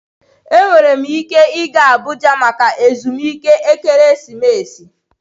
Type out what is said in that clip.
Enwere m ike ịga Abuja maka ezumike ekeresimesi.